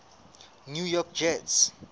new york jets